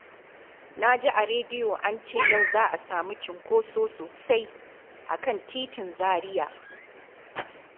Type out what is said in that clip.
Na ji a rediyo an ce yau za a samu cunkoso sosai a kan titin Zariya